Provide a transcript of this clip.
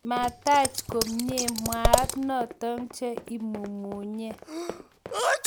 mataach komyee mwaat natong che imumunye